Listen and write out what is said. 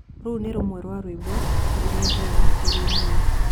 Rũrũ nĩ rũmwe rwa nyĩmbo ĩrĩa njega kũrĩ niĩ